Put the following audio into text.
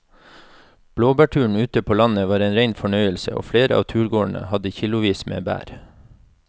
Blåbærturen ute på landet var en rein fornøyelse og flere av turgåerene hadde kilosvis med bær.